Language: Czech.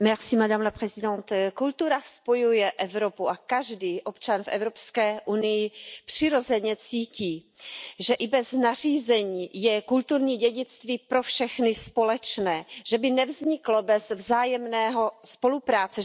Pane předsedající, kultura spojuje Evropu a každý občan v Evropské unii přirozeně cítí, že i bez nařízení je kulturní dědictví pro všechny společné, že by nevzniklo bez vzájemné spolupráce.